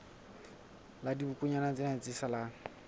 la dibokonyana tsena tse salang